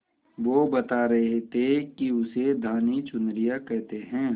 वो बता रहे थे कि उसे धानी चुनरिया कहते हैं